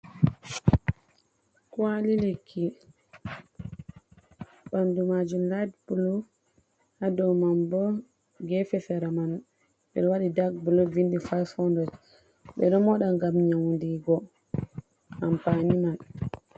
Kwali lekki ɓandu majum lait blu ha ɗau man bo gefe sera man ɓe wadi dak blu 2500 ɓedo moɗa gam nyaundigo ampani man.